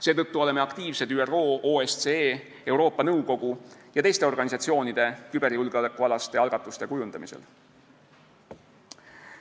Seetõttu oleme aktiivsed ÜRO, OSCE, Euroopa Nõukogu ja teiste organisatsioonide küberjulgeolekualaste algatuste kujundamisel.